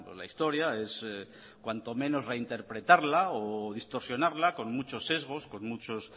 la historia es cuanto menos reinterpretarla o distorsionarla con muchos sesgos con muchos